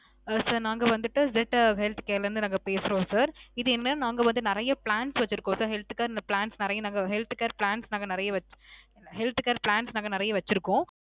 ஆ sir நாங்க வந்திட்டு z health care ல இருந்து நாங்க பேசுறோம் sir. நாங்க வந்து நிறைய plans வச்சிருக்கோம் sir. health care plans நிறைய நாங்க health care plans நாங்க நிறைய health care plans நாங்க நிறைய வச்சிருக்கோம்.